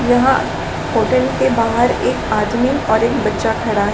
यह होटल के बाहर एक आदमी और एक बच्चा खड़ा--